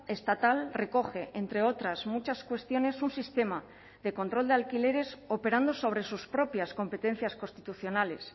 estatal recoge entre otras muchas cuestiones un sistema de control de alquileres operando sobre sus propias competencias constitucionales